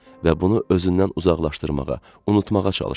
Və bunu özündən uzaqlaşdırmağa, unutmağa çalışırdı.